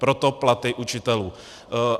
Proto platy učitelů.